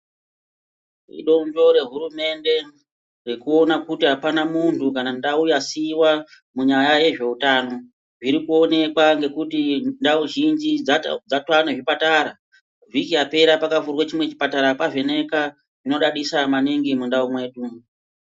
Idonzvo rehurumende rekuona kuti apana muntu kana ndau yasiiwa munyaya yezveutano. Zviri kuonekwa ngekuti ndau zhinji dzatava nezvipatara. Vhiki yapera pakavhurwa chimweni chipatara paVheneka zvinodadisa maningi mundau mwedu.